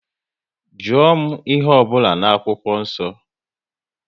Jụọ m ihe ọ bụla n'akwụkwọ nsọ!